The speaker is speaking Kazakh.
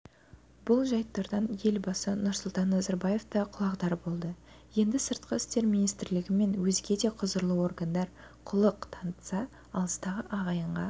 бұл жайттардан елбасы нұрсұлтан назарбаев та құлағдар болды енді сыртқы істер министрлігі мен өзге де құзырлы органдар құлық танытса алыстағы ағайынға